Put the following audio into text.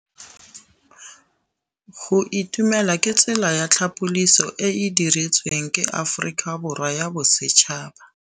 Go itumela ke tsela ya tlhapolisô e e dirisitsweng ke Aforika Borwa ya Bosetšhaba.